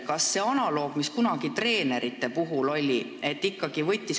Kas saaks kasutada analoogi, mida kunagi treenerite puhul rakendati?